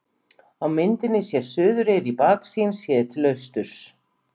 Á myndinni sést Suðureyri í baksýn, séð til austurs.